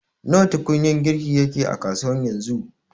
Nawa tukunyar girki yake a kasuwa yanzu